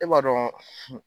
E b'a dɔn